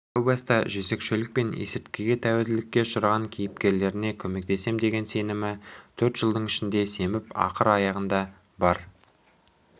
әу баста жезөкшелік пен есірткіге тәуелділікке ұшыраған кейіпкерлеріне көмектесем деген сенімі төрт жылдың ішінде семіп ақыр аяғында бар